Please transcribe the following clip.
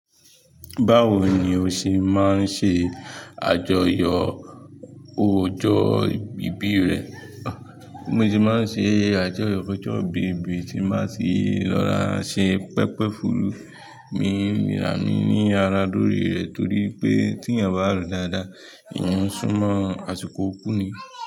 Báwo ni o ṣe máa ń ṣe àjọyọ̀ ọjọ́ ìbí rẹ? Bi mo se máa ń ṣe àjọyọ̀ ọjọ́ ìbí mi tí n ba tì lọ ra ṣe pẹpẹ fùrù. Mi nirà mí ní ara lórí rẹ̀ torí pé tí ẹ̀yàn bá ro dáadáa, ẹ̀yàn súnmọ́ àsìkò ikú ni.